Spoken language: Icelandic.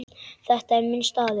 Þetta er minn staður.